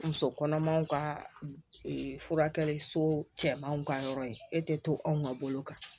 Muso kɔnɔmanw ka furakɛli so cɛmanw ka yɔrɔ ye e tɛ to anw ka bolo kan